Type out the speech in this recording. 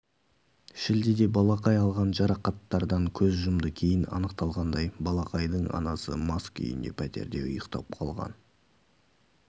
шілдеде балақай алған жарақаттардан көз жұмды кейін анықталғандай балақайдың анасы мас күйінде пәтерде ұйықтап қалған